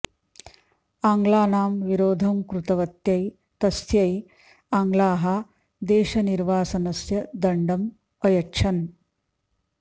आङ्ग्लानां विरोधं कृतवत्यै तस्यै आङ्ग्लाः देशनिर्वासनस्य दण्डम् अयच्छन्